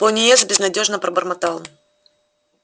пониетс безнадёжно пробормотал